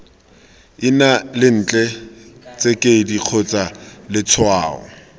ina lentle tsekedi kgotsa letshwao